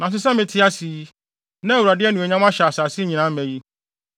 Nanso sɛ mete ase yi, na Awurade anuonyam ahyɛ asase nyinaa ma yi,